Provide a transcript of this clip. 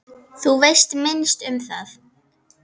Þú veist minnst um það.